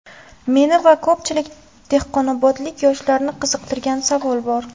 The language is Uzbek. Meni va ko‘pchilik dehqonobodlik yoshlarni qiziqtirgan savol bor.